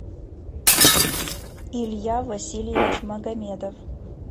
илья васильевич магомедов